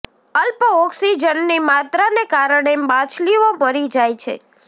અલ્પ ઓક્સિજનની માત્રા ને કારણે માછલીઓ મરી જાય છે